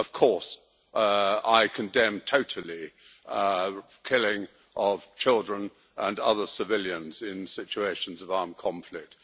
Of course I condemn totally the killing of children and other civilians in situations of armed conflict.